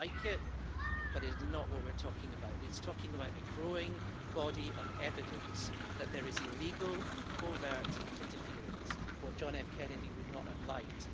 I don't like it, but it is not what we're talking about. It is talking about a growing body of evidence that there is illegal and covert interference, what John F Kennedy would not have liked.